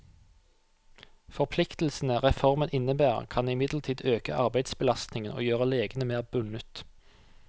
Forpliktelsene reformen innebærer, kan imidlertid øke arbeidsbelastningen og gjøre legene mer bundet.